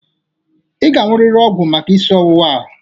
Ị ga-aṅụrịrị ọgwụ maka isi ọwuwa a.